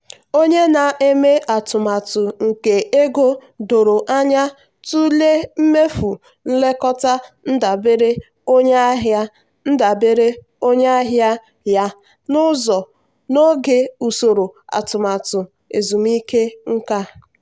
onye na-eme atụmatụ nke ego doro anya tụlee mmefu nlekọta ndabere onye ahịa ndabere onye ahịa ya n'oge usoro atụmatụ ezumike nka.